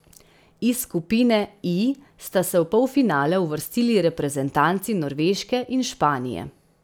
Iz skupine I sta se v polfinale uvrstili reprezentanci Norveške in Španije.